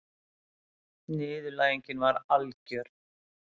Niðurlægingin var algjör.